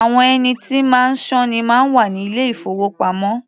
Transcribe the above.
Àwọn ẹni tí máa sọ́ ni máa ń wà ní ilé-ìfowópamọ́.